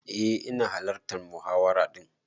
Eh ina hallartan muhawara din.